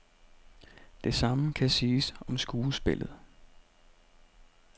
Det samme kan siges om skuespillet.